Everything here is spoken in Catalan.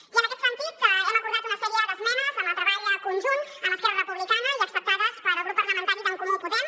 i en aquest sentit hem acordat una sèrie d’esmenes en el treball conjunt amb esquerra republicana i acceptades pel grup parlamentari d’en comú podem